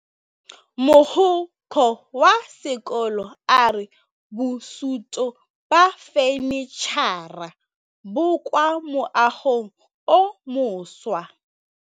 Mogokgo wa sekolo a re bosutô ba fanitšhara bo kwa moagong o mošwa.